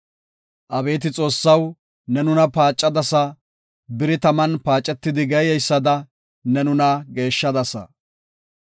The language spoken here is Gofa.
Abeeti Xoossaw ne nuna paacadasa; biri taman paacetidi geeyeysada ne nuna geeshshadasa.